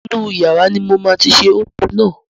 Inú yàrá ní máa tí ṣe oúnjẹ náà